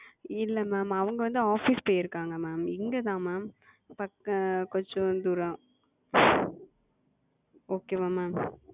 இல்ல Ma'am அவங்க வந்து Office போயிருக்காங்க Ma'am. இங்க தான் Ma'am பக்க கொஞ்ச தூரம். Okay ஆ Ma'am?